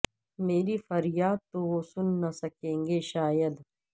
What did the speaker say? میری فریاد تو وہ سن نہ سکیں گے شاید